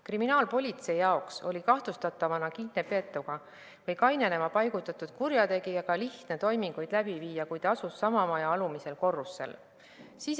Kriminaalpolitseinikel oli kahtlustatavana kinni peetud või kainenema paigutatud kurjategijaga lihtne toiminguid läbi viia, kui ta asus sama maja alumisel korrusel.